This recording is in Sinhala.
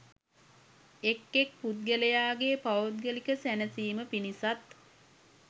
එක් එක් පුද්ගලයාගේ පෞද්ගලික සැනසීම පිණිසත්,